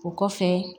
O kɔfɛ